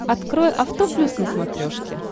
открой авто плюс на смотрешке